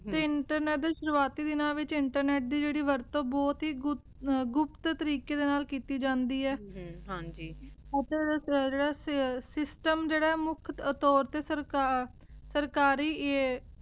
ਤੇ ਇੰਟਰਨੇਟ ਦੇ ਸ਼ੁਰੁਵਾਤੀ ਦਿਨਾਂ ਵਿਚ ਇੰਟਰਨੇਟ ਦੀ ਜੇਰੀ ਵਰਤੁ ਊ ਬੋਹਤ ਈ ਗੁਪਤ ਤਰੀਕੇ ਦੇ ਨਾਲ ਕੀਤੀ ਜਾਂਦੀ ਆਯ ਹਨ ਹਾਂਜੀ system ਜੇਰਾ ਆਯ ਮੁਖ ਤੋਰ ਤੇ ਸਰਕਾਰ ਸਰਕਾਰੀ ਆਯ